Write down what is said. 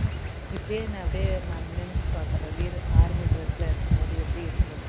இப்பயே நான் அப்படியே நான் நெனச்சு பாக்குறேன் வீர் army dress ல இருக்கும்போது எப்படி இருக்கும்னு